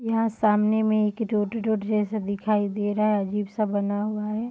यहां सामने में एक रोड रोड जैसा दिखाई दे रहा है अजीब-सा बना हुआ है।